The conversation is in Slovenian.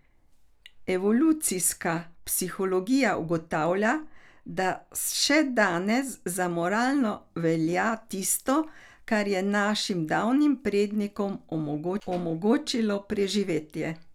Evolucijska psihologija ugotavlja, da še danes za moralno velja tisto, kar je našim davnim prednikom omogočilo preživetje.